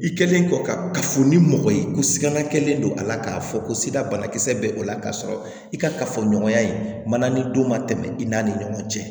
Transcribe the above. I kɛlen kɔ kafo ni mɔgɔ ye ko sigana kelen don a la k'a fɔ ko sida banakisɛ bɛ o la k'a sɔrɔ i ka kafoɲɔgɔnya in man nani don ma tɛmɛ i n'a ni ɲɔgɔn cɛ